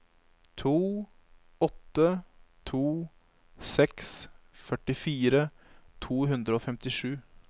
to åtte to seks førtifire to hundre og femtisju